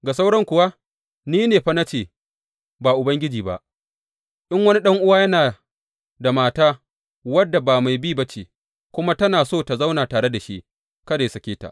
Ga sauran kuwa ni ne fa na ce ba Ubangiji ba, in wani ɗan’uwa yana da mata wadda ba mai bi ba ce, kuma tana so ta zauna tare da shi, kada yă sake ta.